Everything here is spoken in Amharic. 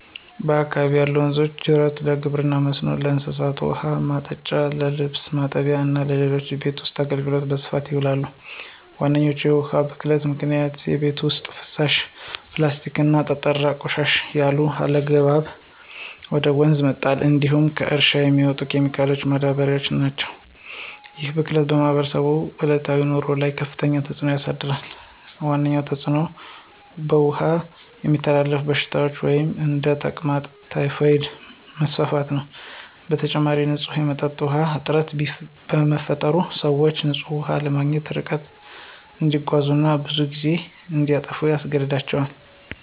በአካባቢዬ ያሉ ወንዞችና ጅረቶች ለግብርና መስኖ፣ ለእንስሳት ውኃ ማጠጫ፣ ለልብስ ማጠብ እና ለሌሎች የቤት ውስጥ አገልግሎት በስፋት ይውላሉ። ዋነኞቹ የውሃ ብክለት ምክንያቶች የቤት ውስጥ ፍሳሽ፣ የፕላስቲክና ጠጣር ቆሻሻ ያለአግባብ ወደ ወንዝ መጣል እንዲሁም ከእርሻ የሚመጡ ኬሚካሎችና ማዳበሪያዎች ናቸው። ይህ ብክለት በማህበረሰቡ ዕለታዊ ኑሮ ላይ ከፍተኛ ተጽዕኖ አሳድሯል። ዋነኛው ተጽዕኖ በውሃ የሚተላለፉ በሽታዎች (እንደ ተቅማጥና ታይፎይድ) መስፋፋት ነው። በተጨማሪም፣ ንጹህ የመጠጥ ውሃ እጥረት በመፈጠሩ፣ ሰዎች ንጹህ ውሃ ለማግኘት ርቀት እንዲጓዙ እና ብዙ ጊዜ እንዲያጠፉ ያስገድዳቸዋል።